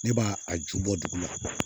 Ne b'a a ju bɔ dugu ma